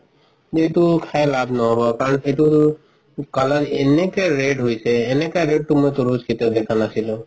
যে এইটো খাই লাভ নহব কাৰণ এইটো color এনেকে red হৈছে এনেকা red তো তৰমুজ মই কেতিয়াও দেখা নাছিলো